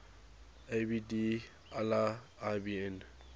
abd allah ibn